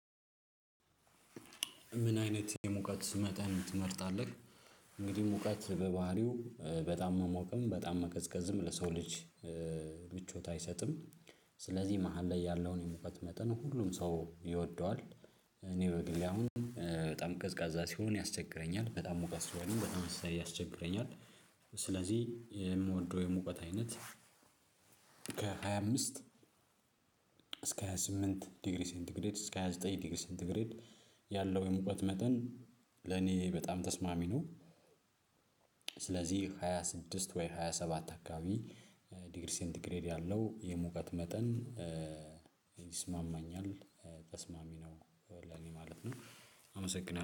ምን አይነት የሙቀት መጠን ትመርጣለህ? እንግዲህ ሙቀት በባህሪው በጣም መሞቅም በጣም መቀዝቀዝም ለሰው ልጅ ምቾት አይሰጥም። ስለዚህ መሃል ላይ ያለውን የሙቀት መጠን ሁሉም ሰው ይወደዋል እኔ በግሌ አሁን በጣም ቀዝቃዛ ሲሆን ያስቸግረኛል በጣም ሙቀት ስሆንም በጣም አስተያየት ያስቸግረኛል። ስለዚህ የምወደው የሙቀት አይነት ከሃያ አምስት እስከ ሃያ ስምንት ዲግሪ ሴንት ግሬድ እስከ ሃያ ዘጠኝ ዲግሪ ሴንት ግሬድ ያለው የሙቀት መጠን ለኔ በጣም ተስማሚ ነው። ስለዚህ ሃያ ስድስት ወይ ሃያ ሰባት አካባቢ ዲግሪ ሴንቲግሬድ ያለው የሙቀት መጠን ይስማማኛል። ተስማሚ ነው ለእኔ ማለት ነው። አመሰግናለው